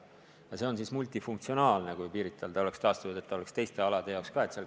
Ja see tuleks multifunktsionaalne: kui see saab Pirital taastatud, siis peaks see olema teiste alade jaoks ka.